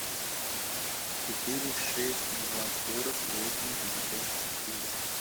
четыре шесть два сорок восемь пятьдесят четыре